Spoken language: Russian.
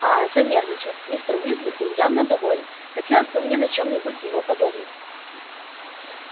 аа занервничал мистер уизли был явно доволен хотелось бы мне на чём-нибудь его подловить